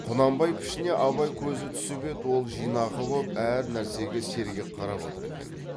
құнанбай пішіне абай көзі түсіп еді ол жинақы боп әр нәрсеге сергек қарап отыр екен